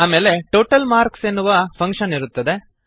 ಆಮೇಲೆ total marks ಎನ್ನುವ function ಇರುತ್ತದೆ